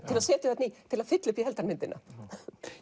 til að fylla upp í heildarmyndina